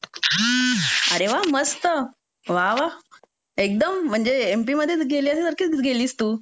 अरे वा मस्त वा वा एकदम एमपी मध्ये गेल्यासारखीच गेलीस तू